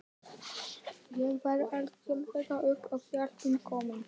Ég var algjörlega upp á hjálpina komin.